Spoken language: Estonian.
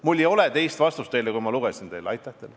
Mul ei ole teist vastust kui see, mille ma ette lugesin.